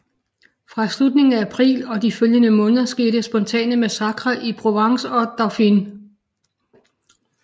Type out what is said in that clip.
Fra slutningen af april og de følgende måneder skete spontane massakrer i Provence og Dauphiné